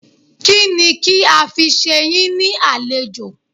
Kínni kí a fi ṣe yín ní àlejò?